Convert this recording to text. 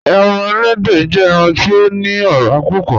Ẹran èlẹ́dẹ jẹ̀ ẹran ti o ni ọ̀rà púpọ̀.